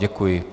Děkuji.